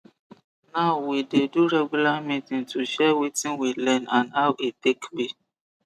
now we we dey do regular meeting to share wetin we learn and how e take be